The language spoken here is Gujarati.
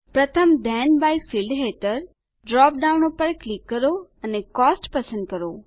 પ્રથમ થેન બાય ફિલ્ડ હેઠળ ડ્રોપ ડાઉન પર ક્લિક કરો અને કોસ્ટ પસંદ કરો